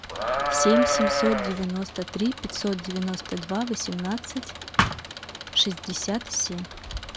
семь семьсот девяносто три пятьсот девяносто два восемнадцать шестьдесят семь